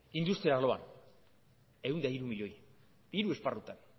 industria arloa hirurehun eta hiru milioi hiru esparrutan